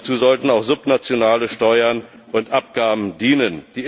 Dazu sollten auch subnationale Steuern und Abgaben dienen.